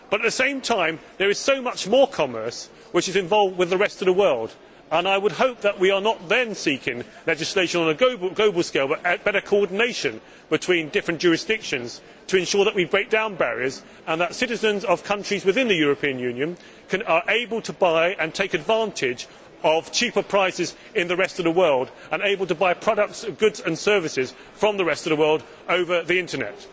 At the same time, however, there is so much more commerce which is involved with the rest of the world, and I would hope that we are not then seeking legislation on a global scale, but better coordination between different jurisdictions to ensure that we break down barriers and that citizens of countries within the European Union are able to take advantage of cheaper prices in the rest of the world and to buy products, goods and services from the rest of the world over the Internet.